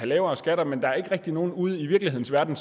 lavere skatter men der er ikke rigtig nogen ude i virkelighedens verden